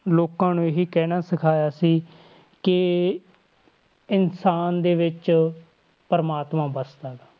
ਲੋਕਾਂ ਨੂੰ ਇਹੀ ਕਹਿਣਾ ਸਿਖਾਇਆ ਸੀ ਕਿ ਇਨਸਾਨ ਦੇ ਵਿੱਚ ਪ੍ਰਮਾਤਮਾ ਵਸਦਾ ਗਾ।